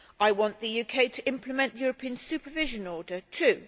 I want the UK to implement the European Supervision Order too.